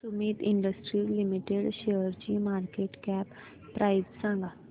Sumeet industries limited शेअरची market cap price सांगा